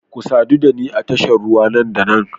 Ku sadu da ni a tashar ruwa nan da nan